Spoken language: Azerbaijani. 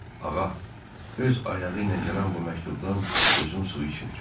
öz ayağı ilə gələn bu məktubdan gözüm su içmir.